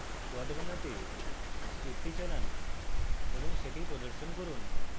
plot বানাতে script চালান এবং সেটি প্রদর্শন run